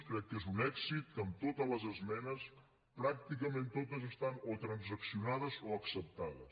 crec que és un èxit que totes les esmenes pràcticament totes estan o transaccionades o acceptades